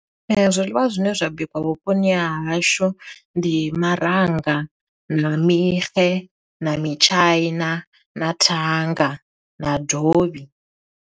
Zwiḽiwa zwine zwa bikiwa vhuponi ha hashu ndi maranga, na mixe, na mitshaina, na thanga, na dovhi.